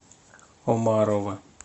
омарова